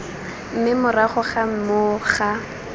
mme morago ga moo ga